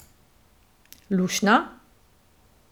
Luštno?